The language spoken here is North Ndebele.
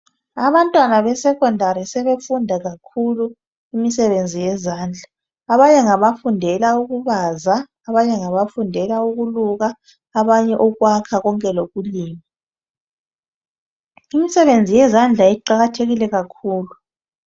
abantwana be secondary sebefunda kakhulu imisebenzi yezandla, abanye ngabafundela ukubaza ,abanye ngabafundela ukuluka ukwakha konke lokulima imisebenzi yezandla iqakathekile kakhulu